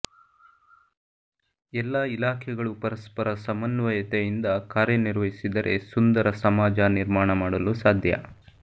ಎಲ್ಲ ಇಲಾಖೆಗಳು ಪರಸ್ಪರ ಸಮನ್ವಯತೆಯಿಂದ ಕಾರ್ಯನಿರ್ವಹಿಸಿದರೆ ಸುಂದರ ಸಮಾಜ ನಿರ್ಮಾಣ ಮಾಡಲು ಸಾಧ್ಯ